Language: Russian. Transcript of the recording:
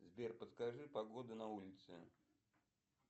сбер подскажи погоду на улице